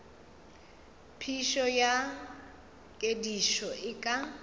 phišo ya kedišo e ka